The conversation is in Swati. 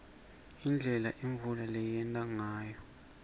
indlela imvula leyenteka ngayo